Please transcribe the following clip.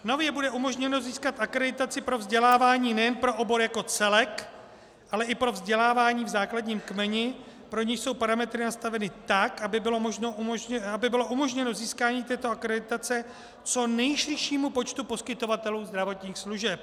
Nově bude umožněno získat akreditaci pro vzdělávání nejen pro obor jako celek, ale i pro vzdělávání v základním kmeni, pro nějž jsou parametry nastaveny tak, aby bylo umožněno získání této akreditace co nejširšímu počtu poskytovatelů zdravotních služeb.